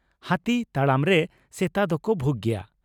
ᱦᱟᱹᱛᱤ ᱛᱟᱲᱟᱢ ᱨᱮ ᱥᱮᱛᱟ ᱫᱚᱠᱚ ᱵᱷᱩᱜᱽ ᱜᱮᱭᱟ ᱾